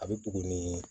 A bɛ bugu ni